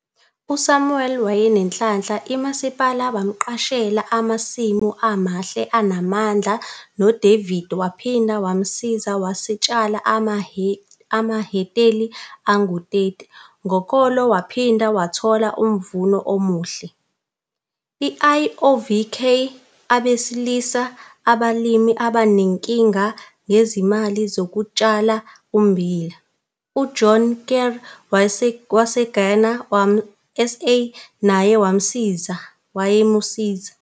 USamuel wayenenhlanhla imasipale bamqashela amasimu amahle anamandla noDavid waphinda wamsiza wasewatshala amahekteli angu-30 ngokolo waphinda wathola umvuno omuhle. IOVK belisiza abalimi abanenkinga ngezimali ukutshala ummbila. UJohan Kriel waseGrain SA naye wayemsiza.